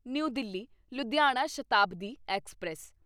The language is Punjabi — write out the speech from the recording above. new Delhi Ludhiana Shatabdi express